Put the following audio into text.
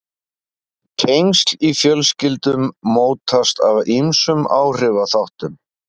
Tengsl í fjölskyldum mótast af ýmsum áhrifaþáttum.